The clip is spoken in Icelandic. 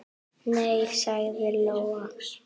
Nei, sagði Lóa.